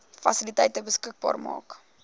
fasiliteite beskikbaar maak